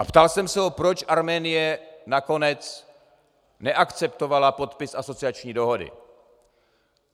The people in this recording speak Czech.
A ptal jsem se ho, proč Arménie nakonec neakceptovala podpis asociační dohody.